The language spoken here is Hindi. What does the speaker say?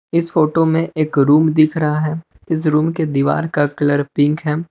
इस फोटो में एक रूम दिख रहा है इस रूम के दीवार का कलर पिंक है।